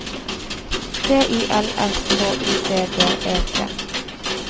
T I L S K U D D E T